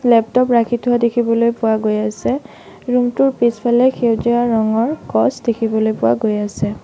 Laptop ৰাখি থোৱা দেখিবলৈ পোৱা গৈ আছে ৰুম টোৰ পিছফালে সেউজীয়া ৰঙৰ গছ দেখিবলৈ পোৱা গৈ আছে।